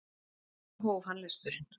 Svo hóf hann lesturinn.